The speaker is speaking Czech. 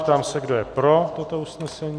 Ptám se, kdo je pro toto usnesení.